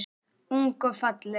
Ung og falleg.